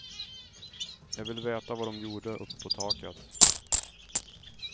Jag ville veta vad de gjorde uppe på taket.